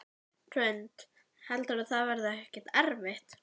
Hrund: Heldurðu að það verði ekkert erfitt?